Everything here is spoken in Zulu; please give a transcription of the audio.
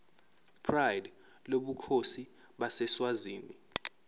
pride lobukhosi baseswazini